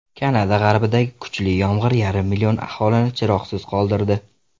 Kanada g‘arbidagi kuchli yomg‘ir yarim million aholini chiroqsiz qoldirdi.